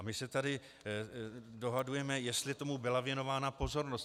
A my se tady dohadujeme, jestli tomu byla věnována pozornost.